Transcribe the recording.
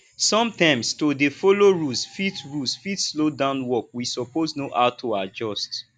sometimes to dey follow rules fit rules fit slow down work we suppose know how to adjust